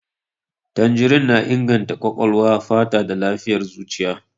Tanjirin na inganta ƙwaƙwalwa, fata da lafiyar zuciya.